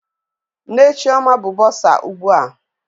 Nne Chioma bụ bọsa ugbu a.